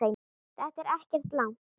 Þetta er ekkert langt.